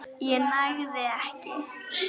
ég nægði ekki.